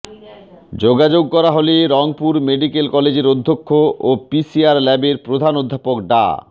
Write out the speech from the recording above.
যোগাযোগ করা হলে রংপুর মেডিক্যাল কলেজের অধ্যক্ষ ও পিসিআর ল্যাবের প্রধান অধ্যাপক ডা